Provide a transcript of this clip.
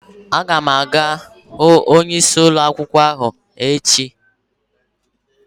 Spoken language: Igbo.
Aga m aga hu onyeisi ụlọakwụkwọ ahụ n'ọfis ya echi.